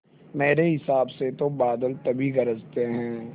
मेरे हिसाब से तो बादल तभी गरजते हैं